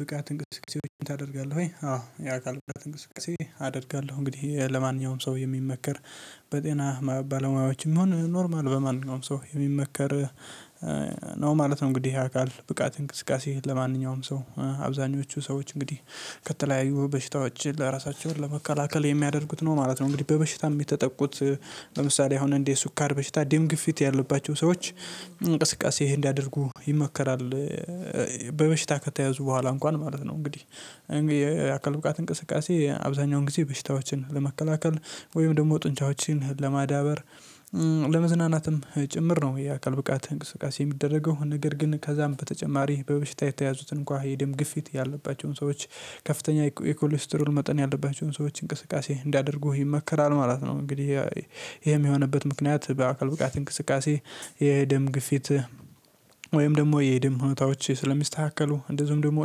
ብቃት እንቅስቃሴዎችን ታደርጋለህ ወይ? አዎ የአካል ብቃት እንቅስቃሴ አደርጋለሁ እንግዲህ ለማንኛውም ሰው የሚመከር በጤና ባለሙያዎችም ሆነ ኖርማል በማንኛውም ሰው የሚመከር ነው ማለት ነው። እንግዲህ ያካል ብቃት እንቅስቃሴ ለማንኛውም ሰው አብዛኞቹ ሰዎች እንግዲህ ከተለያዩ በሽታዎች ለራሳቸው ለመከላከል የሚያደርጉት ነው ማለት ነው። እንግዲህ በበሽታም የሚጠቁት ለምሳሌ አሁን እንዴ ሱኳር በሽታ እንዴት ግፊት ያለባቸው ሰዎች እንቅስቃሴ ይሄን እንዲያደርጉ ይመከራል። በበሽታ ከተያዙ በኋላ እንኳን ማለት ነው። እንግዲህ የአካል ብቃት እንቅስቃሴ አብዛኛውን ጊዜ በሽታዎችን ለመከላከል ወይም ደግሞ ጡንቻዎችን ለማዳበር ለመዝናናትም ጭምር ነው። የአካል ብቃት እንቅስቃሴ የሚደረገው ነገር ግን ከዛም በተጨማሪ በበሽታ የተያዙትን እንኳን የደም ግፊት ያለባቸውን ሰዎች ከፍተኛ የኮሌስትሪውን መጠን ያለባቸውን ሰዎች እንቅስቃሴ እንዲያደርጉ ይመከራል ማለት ነው። እንግዲህ ይሄም የሆነበት ምክንያት በአካል ብቃት እንቅስቃሴ የደም ግፊት ወይም ደሞ የደም ሁኔታዎች ስለሚስተካከሉ እንደዚሁም ደሞ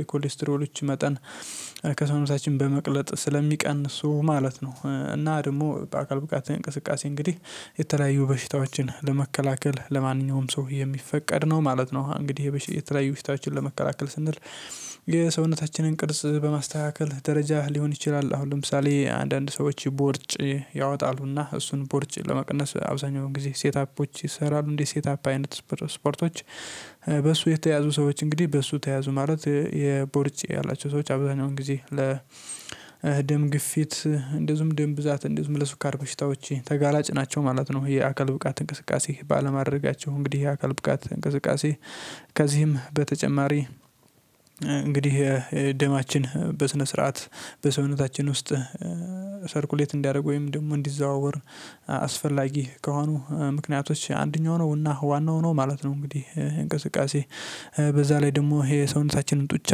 የኮሌስትሮሎች መጠን ከሰውነታችን በመቅለጥ ስለሚቀንሱ ማለት ነው። እና ደግሞ በአካል ብቃት እንቅስቃሴ እንግዲህ የተለያዩ በሽታዎችን ለመከላከል ለማንኛውም ሰው የሚፈቀድ ነው ማለት ነው። እንግዲህ የተለያዩ በሽታዎችን ለመከላከል ስንል የሰውነታችንን ቅርጽ በማስተካከል ደረጃ ሊሆን ይችላል። አሁን ለምሳሌ አንዳንድ ሰዎች ቦርጭ ያወጣሉና እሱን ቦርጭ ለመቀነስ አብዛኛውን ጊዜ ሴት አፖች ይሰራሉ እንዴ ሴት አፕ አይነት ስፖርቶች። በሱ የተያዙ ሰዎች እንግዲህ በሱ ተያዙ ማለት የቦርጬ ያላቸው ሰዎች አብዛኛውን ጊዜ ለ ደም ግፊት እንደዚሁም ደም ብዛት እንደዚሁም ለሱካር በሽታዎች ተጋላጭ ናቸው ማለት ነው። የአካል ብቃት እንቅስቃሴ ባለማድረጋቸው እንግዲህ የአካል ብቃት እንቅስቃሴ። ከዚህም በተጨማሪ እንግዲህ ደማችን በስነ ስርዓት በሰውነታችን ውስጥ ሰርኩሌት እንዲያደርጉ ወይም ደግሞ እንዲዘዋወር አስፈላጊ ከሆኑ ምክንያቶች አንደኛው ነው እና ዋናው ነው ማለት ነው። እንግዲህ እንቅስቃሴ በዛ ላይ ደሞ ይሄ እሳቸውን ጡንቻ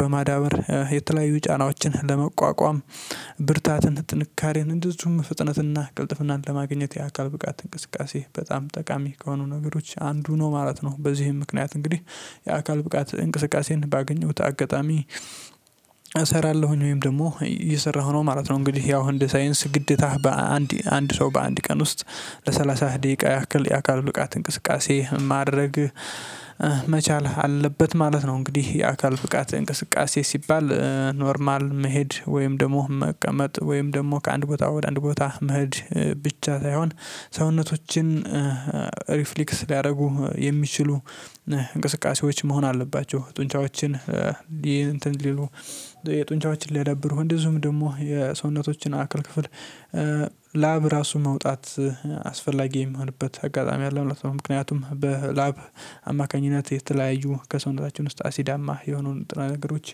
በማዳበር የተለያዩ ጫናዎችን ለመቋቋም ብርታትን ጥንካሬን እንደዚሁም ፍጥነትና ቅልጥፍናን ለማግኘት የአካል ብቃት እንቅስቃሴ በጣም ጠቃሚ ከሆኑ ነገሮች አንዱ ነው ማለት ነው። በዚህም ምክንያት እንግዲህ የአካል ብቃት እንቅስቃሴን ባገኘሁት አጋጣሚ እሰራለሁኝ ወይም ደግሞ እየሰራሁ ነው ማለት ነው። እንግዲህ ያው እንደ ሳይንስ ግዴታህ በአንድ አንድ ሰው በአንድ ቀን ውስጥ ለሰላሳ ደቂቃ ያክል የአካል ብቃት እንቅስቃሴ ማድረግ መቻል አለበት ማለት ነው። እንግዲህ የአካል ብቃት እንቅስቃሴ ሲባል ኖርማል መሄድ ወይም ደሞ መቀመጥ ወይም ደሞ ከአንድ ቦታ ወደ አንድ ቦታ መሀሄድ ብቻ ሳይሆን ሰውነቶችን ሪፍሌክስ ሊያደርጉ የሚችሉ እንቅስቃሴዎች መሆን አለባቸው። ጡንቻዎችን የጡንቻዎችን ሊያደብሩ እንደዚሁም ደግሞ የሰውነቶችን አክል ክፍል ላብ ራሱ መውጣት አስፈላጊ የሚሆንበት አጋጣሚ አለ ማለት ነው። ምክንያቱም በላብ አማካኝነት የተለያዩ ከሰውነታችን ውስጥ አሲዳማ የሆኑን ንጥረነገሮች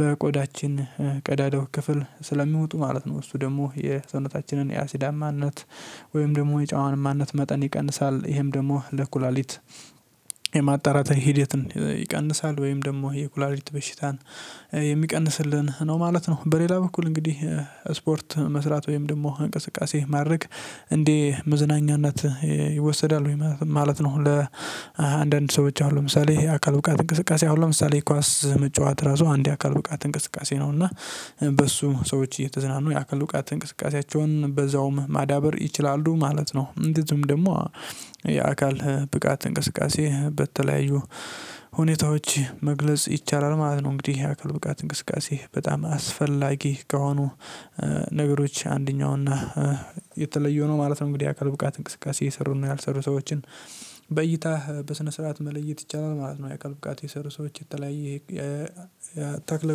በቆዳችን ቀዳዳው ክፍል ማለት ነው እሱ ደሞ የሰውነታችንን የአሲዳማነት ወይም ደሞ የጨዋንማነት መጠን ይቀንሳል ይሄም ደግሞ ለኩላሊት ሂደትን ይቀንሳል ወይም ደግሞ የኩላሊቲ በሽታን የሚቀንስልን ነው ማለት ነው። በሌላ በኩል እንግዲህ ስፖርት መስራት ወይም ደሞ እንቅስቃሴ ማድረግ እንዴ መዝናኛነት ይወሰዳል ማለት ነው። ለአንዳንድ ሰዎች አሉ ለምሳሌ የአካል ብቃት እንቅስቃሴ አሁን ለምሳሌ ኳስ መጫወት ራሱ አንድ አካል ብቃት እንቅስቃሴ ነው። እና በሱ ሰዎች እየተዝናኑ የአካል ብቃት እንቅስቃሴያቸውን በዛውም ማዳበር ይችላሉ ማለት ነው። እንደዚሁም ደግሞ ብቃት እንቅስቃሴ በተለያዩ ሁኔታዎች መግለጽ ይቻላል ማለት ነው። እንግዲህ ያካል ብቃት እንቅስቃሴ በጣም አስፈላጊ ከሆኑ ነገሮች አንደኛው እና የተለየው ነው ማለት ነው። እንግዲህ ያካል ብቃት እንቅስቃሴ የሰሩና ያልሰሩ ሰዎችን በይታህ በስነ ስርዓት መለየት ይቻላል ማለት ነው። የቀልብቃት የሰሩ ሰዎች የተለያየ ተክለ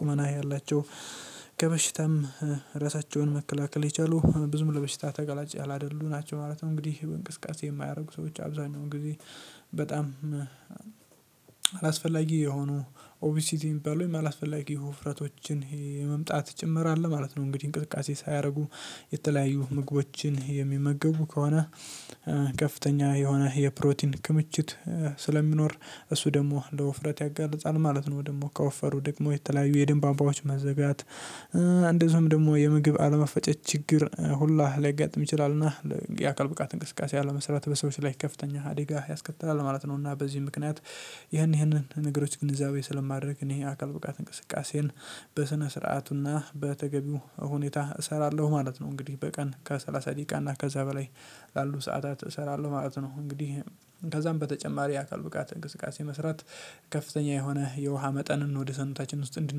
ቁመና ያላቸው ከበሽታም ራሳቸውን መከላከል የቻሉ ብዙም ለበሽታ ተጋላጭ ያላደሉም ናቸው ማለት ነው። እንግዲህ በእንቅስቃሴ የማያደርጉ ሰዎች አብዛኛውን ጊዜ በጣም አላስፈላጊ የሆኑ ኦብሲቲ የሚባሉ ወይም አላስፈላጊ የውፍረቶችን የመምጣት ጭምር አለ ማለት ነው። እንግዲህ እንቅስቃሴ ሳያደርጉ የተለያዩ ምግቦችን የሚመገቡ ከሆነ ከፍተኛ የሆነ የፕሮቲን ክምችት ስለሚኖር እሱ ደሞ ለወፍረት ያጋልጻል ማለት ነው። ደግሞ ከወፈሩ ደግሞ የተለያዩ የደም ቧንቧዎች መዘጋት እንደዚሁም ደግሞ የምግብ አለመፈጨት ችግር ሁላ ሊያጋጥም ይችላልና የአካል ብቃት እንቅስቃሴ አለመሰራት በሰዎች ላይ ከፍተኛአደጋጋ ያስከትላል ማለት ነው። እና በዚህ ምክንያት ይሄን ይሄንን ነገሮች ግን እዛው ስለማድረግ ይሄ አካል ብቃት እንቅስቃሴን በስነ ስርዓቱና በተገቢው ሁኔታ እሰራለሁ ማለት ነው። እንግዲህ በቀን ከሰላሳ ደቂቃና ከዛ በላይ ላሉ ሰዓታት እሰራለሁ ማለት ነው። እንግዲህ ከዛም በተጨማሪ የአካል ብቃት እንቅስቃሴ መስራት ከፍተኛ የሆነ የውሃ መጠን ወደ ሰኑታችን ውስጥ እንድን